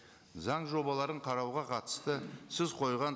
заң жобаларын қарауға қатысты сіз қойған